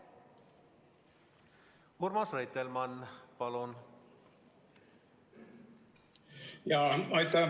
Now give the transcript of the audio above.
Urmas Reitelmann, palun!